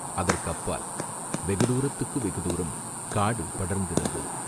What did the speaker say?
அதற்கு அப்பால் வெகுதூரத்துக்கு வெகுதூரம் காடு படர்ந்திருந்தது.